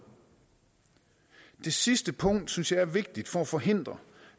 det sidste punkt synes jeg er vigtigt for at forhindre